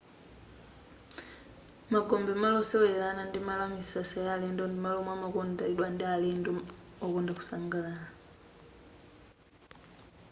magombe malo osewelera ana ndi malo amisasa ya alendo ndi malo omwe amakondedwa ndi alendo okonda kusangalala